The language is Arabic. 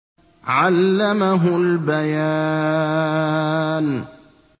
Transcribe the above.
عَلَّمَهُ الْبَيَانَ